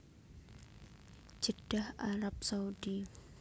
Jeddah Arab Saudi